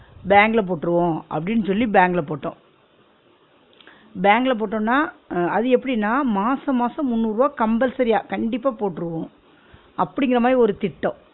பேங்க்ல போற்றுவோம் அப்டின்னு சொல்லி பேங்க்ல போட்டோம் பேங்க்ல போட்டோன்னா அ அது எப்டினா மாசம் மாசம் முன்னூருவா compulsory ஆ கண்டிப்பா போற்றுவோம் அப்பிடிங்குற மாதிரி ஒரு திட்டம்